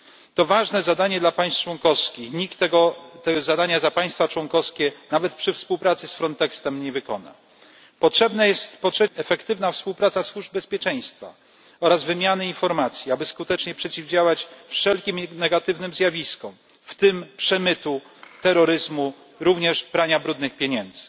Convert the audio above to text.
To ważne zadanie dla państw członkowskich, nikt tego zadania za państwa członkowskie, nawet przy współpracy z Frontexem, nie wykona. Po trzecie, potrzebna jest efektywna współpraca służb bezpieczeństwa oraz wymiana informacji, aby skutecznie przeciwdziałać wszelkim negatywnym zjawiskom, w tym przemytowi, terroryzmowi, a także praniu brudnych pieniędzy.